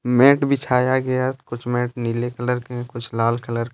mat बिछाया गया कुछ मैट नीले कलर के कुछ लाल कलर के--